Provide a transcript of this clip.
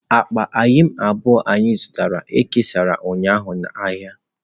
Akpa eyịm abụọ anyị zụtara e kesara ụnyaahụ n'ahịa.